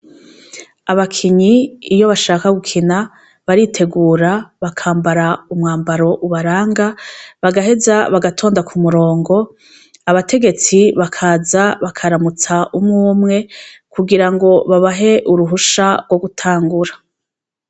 Anakinyi iyo bashaka gukina baritegura bakambara umwambaro ubaranga bagaheza bagatonda ku murongo abategetsi bakaza bakarutsa umwe umwe kugirango babahe uruhusha rwo gutangura.